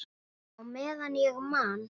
Já, meðan ég man.